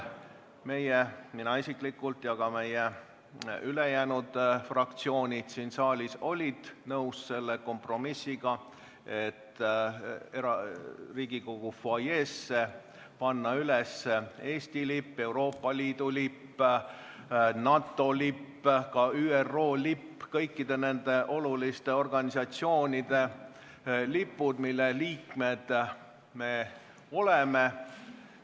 Meie – mina isiklikult ja ka ülejäänud fraktsioonid siin saalis – olime nõus selle kompromissiga, et Riigikogu fuajeesse panna üles Eesti lipp, Euroopa Liidu lipp, NATO lipp, ka ÜRO lipp – kõikide nende oluliste organisatsioonide lipud, mille liikmed me oleme.